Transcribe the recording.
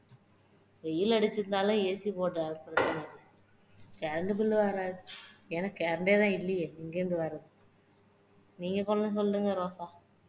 வெயில் அடிச்சாலே AC current bill வராது அதான் current ஏ தான் இல்லையே எங்கருந்து வர்றது நீங்க